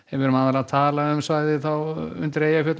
við erum að tala um svæðið undan Eyjafjöllum